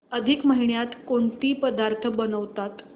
अधिक महिन्यात कोणते पदार्थ बनवतात